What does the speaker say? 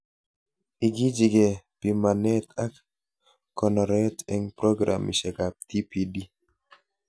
Ikichikee pimanet ak konoret eng programishekab TPD